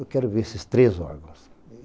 Eu quero ver esses três órgãos.